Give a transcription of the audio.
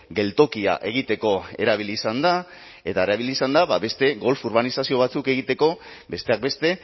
geltokia egiteko erabili izan da eta erabili izan da beste golf urbanizazio batzuk egiteko besteak beste